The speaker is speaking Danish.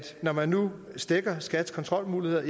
når man nu stækker skats kontrolmuligheder